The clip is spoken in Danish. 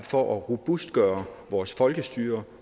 for at robustgøre vores folkestyre